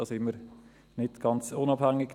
Da sind wir nicht ganz unabhängig.